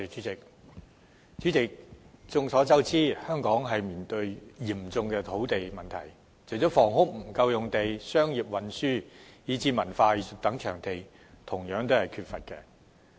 代理主席，眾所周知，香港正面對嚴峻的土地問題，除沒有足夠建屋用地外，也缺乏土地作商業、運輸以至文化藝術等用途。